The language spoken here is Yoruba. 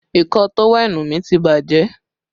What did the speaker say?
Ìkọ̀ọ́ tówẹ́ẹ̀nù mi ti bàjẹ́